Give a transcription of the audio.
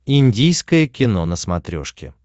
индийское кино на смотрешке